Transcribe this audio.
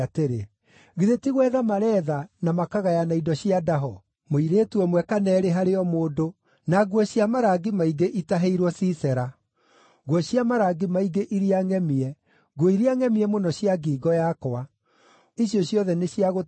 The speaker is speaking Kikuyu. ‘Githĩ ti gwetha mareetha na makagayana indo cia ndaho: mũirĩtu ũmwe kana eerĩ harĩ o mũndũ, na nguo cia marangi maingĩ itahĩirwo Sisera, nguo cia marangi maingĩ iria ngʼemie, nguo iria ngʼemie mũno cia ngingo yakwa, icio ciothe nĩ cia gũtahwo?’